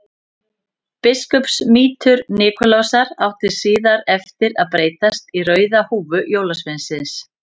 Biskupsmítur Nikulásar átti síðar eftir að breytast í rauða húfu jólasveinsins.